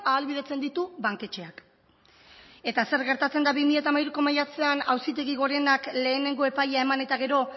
ahalbidetzen ditu banketxeak eta zer gertatzen da bi mila hamairuko maiatzean auzitegi gorenak lehenengo epaia eman eta gero